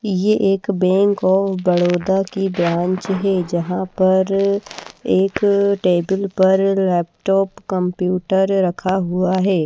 ये एक bank of Baroda की ब्रांच है जहां पर एक टेबल पर लैपटॉप कंप्यूटर रखा हुआ है।